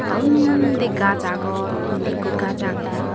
tey undi gaas aagon indi ekko gaas aagey.